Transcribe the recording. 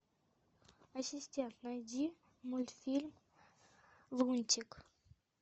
ассистент найди мультфильм лунтик